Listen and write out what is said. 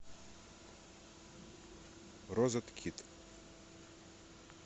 розеткед